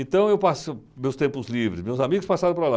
Então, eu passo meus tempos livres, meus amigos passaram para lá.